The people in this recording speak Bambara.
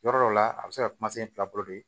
Yɔrɔ dɔ la a bɛ se ka kuma se fila bolo de